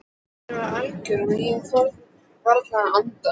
Kyrrðin var algjör og ég þorði varla að anda.